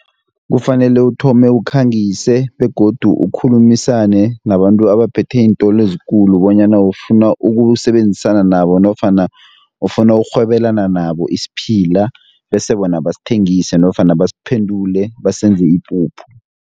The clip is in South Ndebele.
Kufanele uthome ukhangise, begodu akhulumisane nabantu abaphethe iintolo ezikulu, bonyana ufuna ukusebenzisana nabo, nofana ufuna ukurhwebelana nabo isiphila, bese bona basithengise, nofana basiphendule basenze ipuphu.